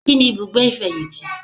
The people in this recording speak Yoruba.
Kíni ibùgbé ìfẹ̀yìntì